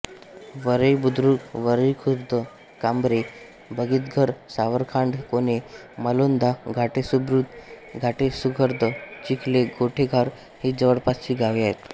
वरईबुद्रुक वरईखुर्द कांबरे आबितघर सावरखांड कोणे मालोंदा गाटेसबुद्रुक गाटेसखुर्द चिखले गोळेघर ही जवळपासची गावे आहेत